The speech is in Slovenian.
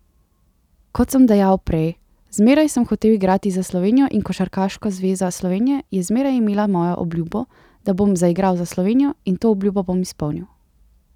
Kot sem dejal prej, zmeraj sem hotel igrati za Slovenijo in Košarkarska zveza Slovenije je zmeraj imela mojo obljubo, da bom zaigral za Slovenijo, in to obljubo bom izpolnil.